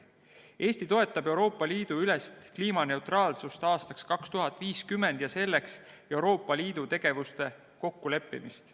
Eesti toetab Euroopa Liidu ülest kliimaneutraalsust aastaks 2050 ja selleks Euroopa Liidu tegevuste kokkuleppimist.